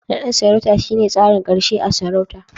Nadin sarauta shine tsarin karshe a'sarauta.